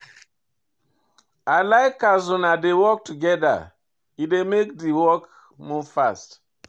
I like as una dey work togeda, e dey make di work move fast.